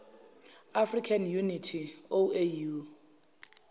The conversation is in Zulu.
african unity oau